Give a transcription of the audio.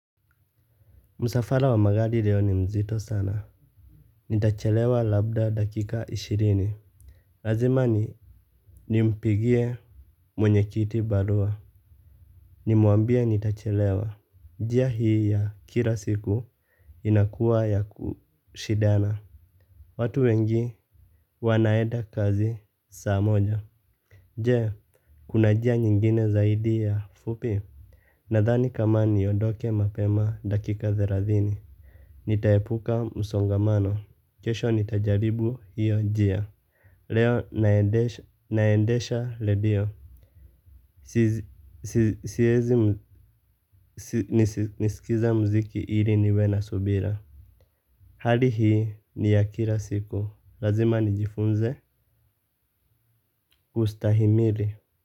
Msafara wa maradi leo ni mzito sana. Nitachelewa labda dakika ishirini. Lazima nimpigie mwenye kiti barua. Nimuambie nitachelewa. Njia hii ya kila siku inakuwa ya kushindana. Watu wengi wanaenda kazi saa moja. Je, kuna jia nyingine zaidi ya fupi? Nadhani kama niondoke mapema dakika thelathini. Nita epuka msongamano. Kesho nitajaribu hiyo njia. Leo naendesha redio. Nisikiza mziki ili niwe na subira. Hali hii ni ya kila siku. Lazima nijifunze kustahimili.